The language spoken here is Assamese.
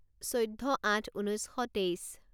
চৈধ্য আঠ ঊনৈছ শ তেইছ